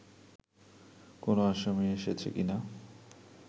কোন আসামী এসেছে কীনা